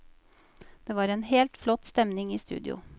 Det var en helt flott stemning i studio.